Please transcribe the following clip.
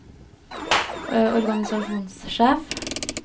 organisasjonssjef